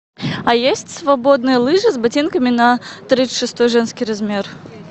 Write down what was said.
а есть свободные лыжи с ботинками на тридцать шестой женский размер